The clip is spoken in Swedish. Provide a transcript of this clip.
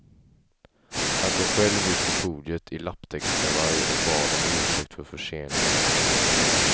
Han kom själv ut på podiet i lapptäckskavaj och bad om ursäkt för förseningen.